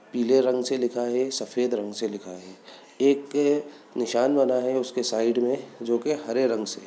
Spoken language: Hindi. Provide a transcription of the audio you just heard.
पीले रंग से लिखा है और सफेद रंग से लिखा है एक निशान बना है उसके साइड में जो कि हरे रंग से --